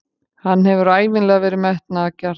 Hann hefur ævinlega verið metnaðargjarn.